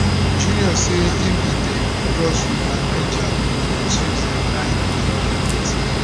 junior say im bin dey cross river niger on tuesday 9 april wit